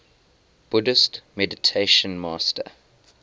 buddhist meditation master